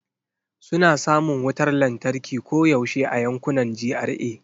Suna samun wutar lantarki koyaushe a yankunan GRA.